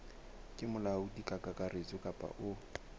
ke molaodi kakaretso kapa o